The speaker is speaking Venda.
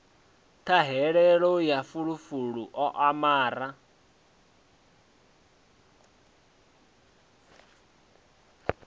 ṱhahelelo ya fulufulu u amara